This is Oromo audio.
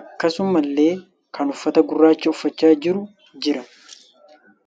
Akkasumallee kan uffata gurraacha uffachaa jiru jira.